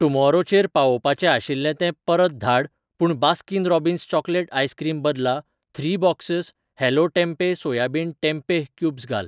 Tomorrow चेर पावोवपाचें आशिल्लें तें परत धाड पूण बास्किन रॉबिन्स चॉकलेट आइसक्रीम बदला three boxes hello tempeh soybean tempeh cubes घाल.